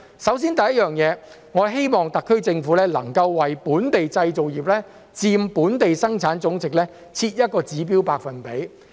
首先，我希望特區政府能為本地製造業佔本地生產總值設一個指標百分比。